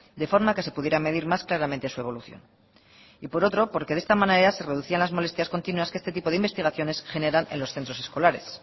de forma que se pudiera medir más claramente su evolución y por otro porque de esta manera se reducían las molestias continuas que este tipo de investigaciones generan en los centros escolares